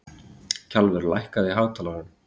Kjalvör, lækkaðu í hátalaranum.